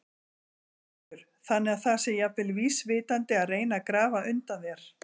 Höskuldur: Þannig að það sé jafnvel vísvitandi að reyna að grafa undan þér?